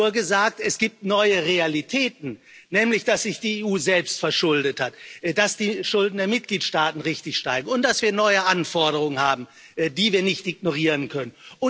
Wir haben nur gesagt Es gibt neue Realitäten, nämlich dass sich die EU selbst verschuldet hat, dass die Schulden der Mitgliedsstaaten richtig steigen und dass wir neue Anforderungen haben, die wir nicht ignorieren können.